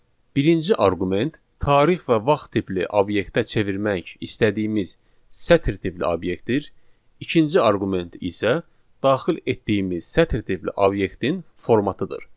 Birinci arqument tarix və vaxt tipli obyektə çevirmək istədiyimiz sətr tipli obyektdir, ikinci arqument isə daxil etdiyimiz sətr tipli obyektin formatıdır.